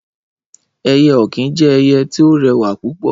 Ẹyẹ ọ̀kín jẹ́ ẹyẹ tí ó rẹwà púpọ̀